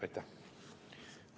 Aitäh!